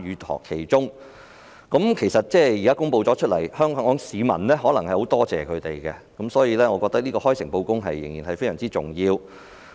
當局作出公布後，香港市民可能會感謝他們，所以，開誠布公十分重要。